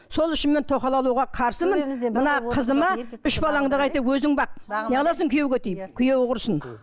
сол үшін мен тоқал алуға қарсымын мына қызыма үш балаңды қайта өзің бақ не қыласың күйеуге тиіп күйеуі құрысын